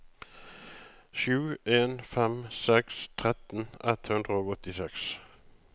sju en fem seks tretten ett hundre og åttiseks